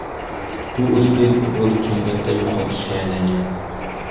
Bu o‘zbek futboli uchun katta yo‘qotishga aylangan.